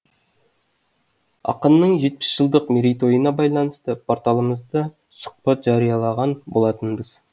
ақынның жетпіс жылдық мерейтойына байланысты порталымызда сұхбат жариялаған болатынбыз